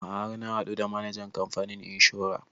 A'a har na haɗu da manajan kamfanin inshora